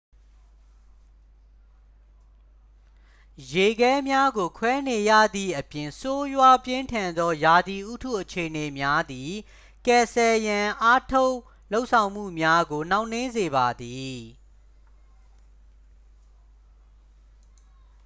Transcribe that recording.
ရေခဲများကိုခွဲနေရသည့်အပြင် ဆိုးရွားပြင်းထန်သောရာသီဥတုအခြေအနေများသည် ကယ်ဆယ်ရန်အားထုတ်လုပ်ဆောင်မှုများကို နှောင့်နှေးစေပါသည်